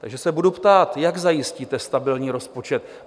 Takže se budu ptát, jak zajistíte stabilní rozpočet?